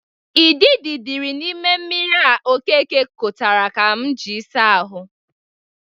Idịdị dịri n'ime mmiri a Okeke kotere m iji asa ahụ.